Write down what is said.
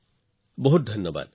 আপোনাক বহুত ধন্যবাদ